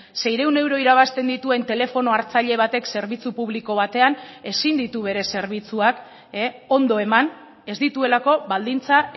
seiehun euro irabazten dituen telefono hartzaile batek zerbitzu publiko batean ezin ditu bere zerbitzuak ondo eman ez dituelako baldintza